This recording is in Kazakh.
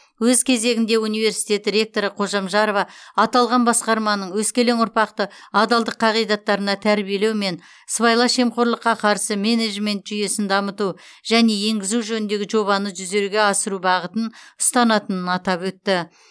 өз кезегінде университет ректоры қожамжарова аталған басқарманың өскелең ұрпақты адалдық қағидаттарына тәрбиелеу мен сыбайлас жемқорлыққа қарсы менеджмент жүйесін дамыту және енгізу жөніндегі жобаны жүзеге асыру бағытын ұстанатынын атап өтті